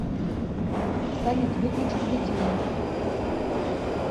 салют выключить будильник